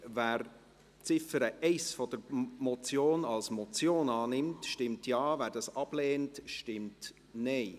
Wer die Ziffer 1 der Motion als Motion annimmt, stimmt Ja, wer dies ablehnt, stimmt Nein.